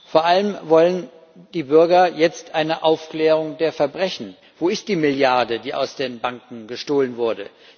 Vor allem wollen die Bürger jetzt eine Aufklärung der Verbrechen Wo ist die Milliarde, die aus den Banken gestohlen wurde?